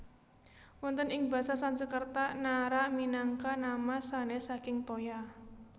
Wonten ing basa Sanskerta Naara minangka nama sanès saking toya